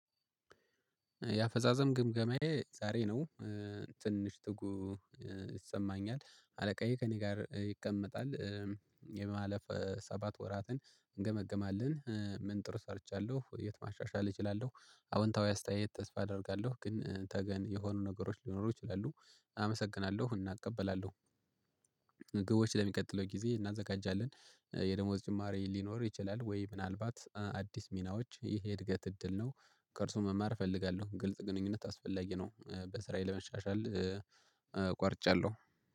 የአፈጻጸም ግምገማዬ ዛሬ ነው ትንሽ ትጉ ይሰማኛል አለቃዬ ከእኔ ጋር ይቀመጣል። የማለፍ ሰባት ወራትን እንገመግማለን ምን ጥሩ ሰርቻለሁ የት ማሻሻል እችላለሁ አዎንታዊ አስተያየት ተስፋ አደርጋለሁ ግን ተገን የሆኑ ነገሮች ሊኖሩ ይችላሉ። አመሰግናለሁ እና እቀበላለሁ ግቦች ለሚቀጥለው ጊዜ እናዘጋጃለን። የደሞዝ ጭማሬ ሊኖር ይችላል ወይ ምናልባት አዲስ ሚናዎች ይሄ እድገት እድል ነው ከእርሱ መማር እፈልጋለሁ ግልጽ ግንኙነት አስፈላጊ ነው በስራዬ ለመሻሻል ቆርጫለሁ።